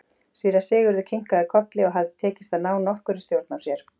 Síra Sigurður kinkaði kolli og hafði tekist að ná nokkurri stjórn á sér.